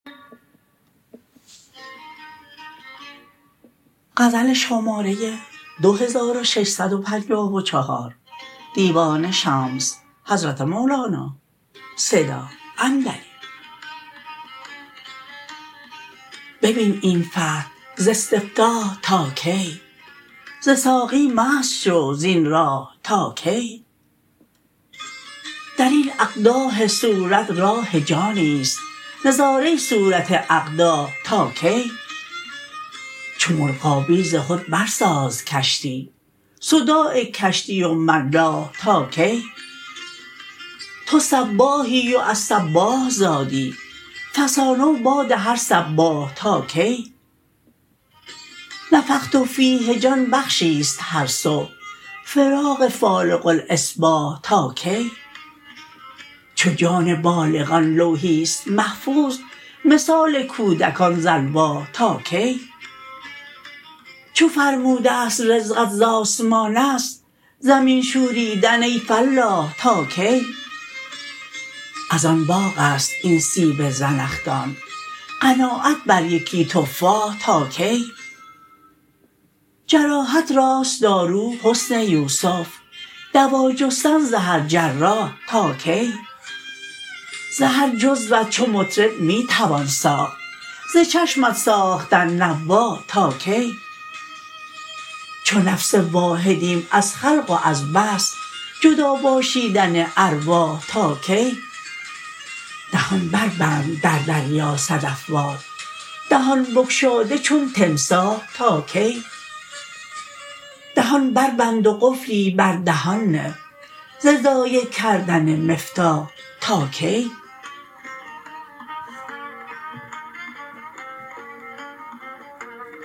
ببین این فتح ز استفتاح تا کی ز ساقی مست شو زین راح تا کی در این اقداح صورت راح جانی است نظاره صورت اقداح تا کی چو مرغابی ز خود برساز کشتی صداع کشتی و ملاح تا کی تو سباحی و از سباح زادی فسانه و باد هر سباح تا کی نفخت فیه جان بخشی است هر صبح فراق فالق الاصباح تا کی چو جان بالغان لوحی است محفوظ مثال کودکان ز الواح تا کی چو فرموده ست رزقت ز آسمان است زمین شوریدن ای فلاح تا کی از آن باغ است این سیب زنخدان قناعت بر یکی تفاح تا کی جراحت راست دارو حسن یوسف دوا جستن ز هر جراح تا کی ز هر جزوت چو مطرب می توان ساخت ز چشمت ساختن نواح تا کی چو نفس واحدیم از خلق و از بعث جدا باشیدن ارواح تا کی دهان بربند در دریا صدف وار دهان بگشاده چون تمساح تا کی دهان بربند و قفلی بر دهان نه ز ضایع کردن مفتاح تا کی